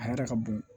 A yɛrɛ ka bon